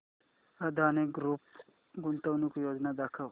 Adani group गुंतवणूक योजना दाखव